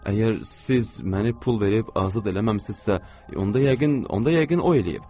Əgər siz məni pul verib azad eləməmisinizsə, onda yəqin, onda yəqin o eləyib.